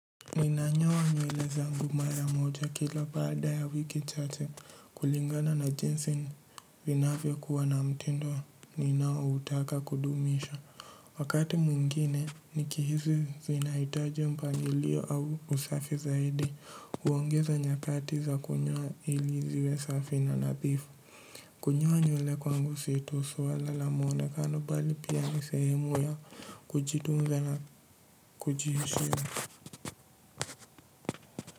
Ninanyoa nywele zangu mara moja kila baada ya wiki chache kulingana na jinsi vinavyo kuwa na mtindo ninaoutaka kudumisha. Wakati mwingine nikihisi zinahitaji mpangilio au usafi zaidi huongeza nyakati za kunyoa ili ziwe safi na nadhifu. Kunypa nywele kwangu si tu swala la muoanekano bali pia ni sehemu ya kujitunza na kujiheshimu.